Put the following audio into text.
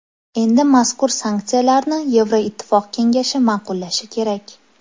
Endi mazkur sanksiyalarni Yevroittifoq kengashi ma’qullashi kerak.